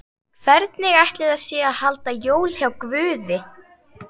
Hvernig ætli sé að halda jól hjá Guði?